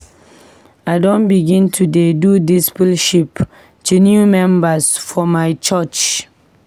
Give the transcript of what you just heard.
I don begin to dey do discipleship to new members for my church.